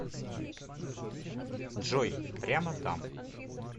джой прямо там